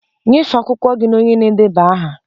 Nyefee akwụkwọ gị na onye na-edeba aha!